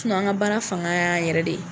Tuma an ka baara fanga y' an yɛrɛ de ye.